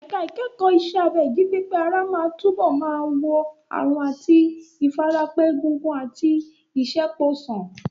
Ẹ̀ka ìkẹ́kọ̀ọ́ iṣẹ́ abẹ ìjípépé ara máa túbọ̀ máa wo àrùn àti ìfarapa egungun àti ìṣẹ́po sàn.